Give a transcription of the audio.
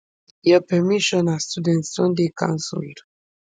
your permission as student don dey cancelled